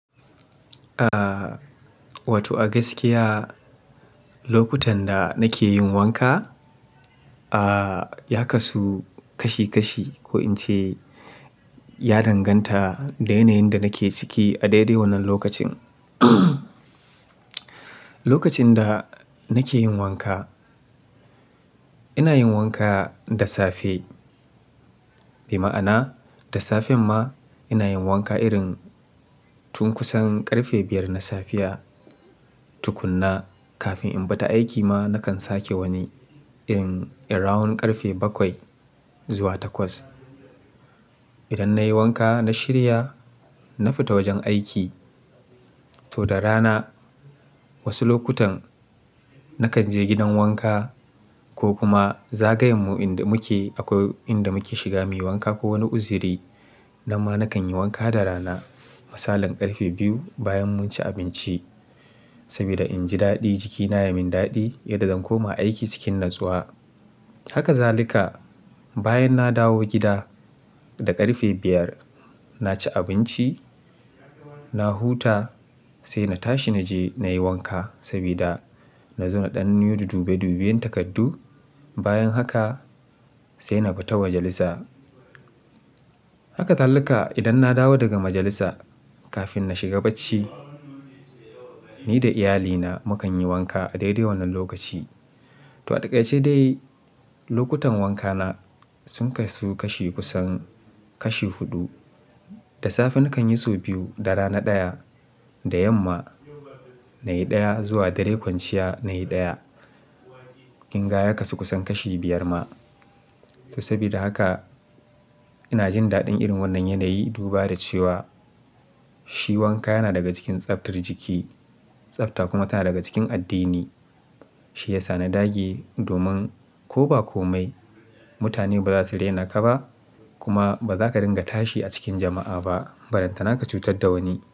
Ah, wato a gaskiya lokutan da nake yin wanka, ah, ya kasu kashi kashi ko in ce ya danganta da yanayin da nake ciki a dai dai wannan lokacin. Lokacin da nake yin wanka, ina yin wanka da safe. Bima'ana da safen ma ina yin wanka irin tun kusan ƙarfe biyar na safiya tukunna kafin in bata aiki ma nakan sake wani irin around ƙarfe bakwai zuwa takwas. Idan nayi wanka na shirya, na fita wajen aiki. To da rana wasu lokutan nakan je gidan wanka ko kuma zagayenmu inda muke akwai inda muke shiga muyi wanka ko wani uziri. Nan ma nakan yi wanka da rana misalin ƙarfe biyu bayan mun ci abinci. Sabida inji daɗi jikina ya min daɗi, yadda zan koma aiki cikin natsuwa. Haka zalika bayan na dawo gida da ƙarfe biyar, na ci abinci, na huta sai na tashi naje nayi wanka sabida nazo na ɗan yi dudu dube duben takardu. Bayan haka sai na bita majalisa. Haka zalika idan na dawo daga majalisa kafin na shiga bacci ni da iyalina mu kan yi wanka a dai dai wannan lokaci. To a takaice dai lokutan wankana sun kasu kashi kusan kashi huɗu. Da safe nakan yi so biyu, da rana ɗaya, da yamma nayi ɗaya zuwa dare kwanciya nayi ɗaya. Kinga ya kasu kusan kashi biyar ma. To sabida haka ina jin daɗin irin wannan yanayi duba da cewa shi wanka yana daga cikin tsaftar jiki. Tsafta kuma tana daga cikin addini. Shi yasa na dage domin ko ba komai mutane ba za su rena ka ba kuma ba za ka dinga tashi a cikin jama'a ba baran tana ka cutar da wani.